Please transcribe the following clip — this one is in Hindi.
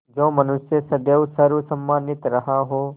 जो मनुष्य सदैव सर्वसम्मानित रहा हो